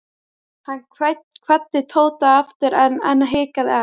Hann kvaddi Tóta aftur EN en hikaði enn.